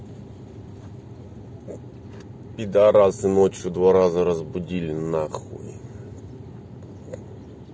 пидорасты ночь в два раза разбудили на хуй